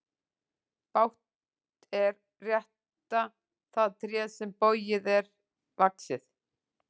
Bágt er rétta það tré sem bogið er vaxið.